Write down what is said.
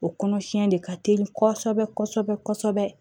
O kɔnɔ siɲɛ de ka teli kɔsɔbɛ kɔsɔbɛ kɔsɔbɛ